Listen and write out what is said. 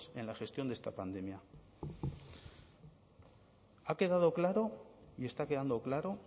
en la gestión de esta pandemia ha quedado claro y está quedando claro